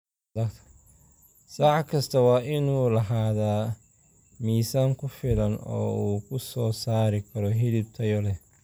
Sac kastaa waa inuu lahaadaa miisaan ku filan oo uu ku soo saari karo hilib tayo leh.